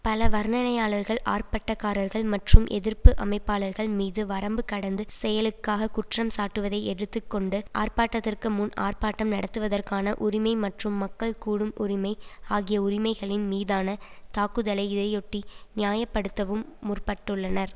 பல வர்ணனையாளர்கள் ஆர்ப்பாட்டக்காரர்கள் மற்றும் எதிர்ப்பு அமைப்பாளர்கள் மீது வரம்பு கடந்து செயலுக்காக குற்றம்சாட்டுவதை எடுத்து கொண்டு ஆர்ப்பாட்டத்திற்கு முன் ஆர்ப்பாட்டம் நடத்துவதற்கான உரிமை மற்றும் மக்கள் கூடும் உரிமை ஆகிய உரிமைகளின் மீதான தாக்குதலை இதையொட்டி நியாய படுத்தவும் முற்பட்டுள்ளனர்